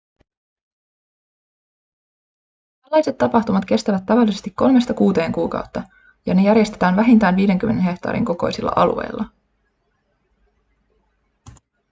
tällaiset tapahtumat kestävät tavallisesti kolmesta kuuteen kuukautta ja ne järjestetään vähintään 50 hehtaarin kokoisilla alueilla